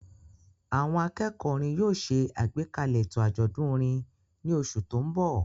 Àwọn akẹ́kọ̀ọ́ orin yóò ṣe àgbékalẹ̀ ètò àjọ̀dún orin ní oṣù tó ń bọ̀.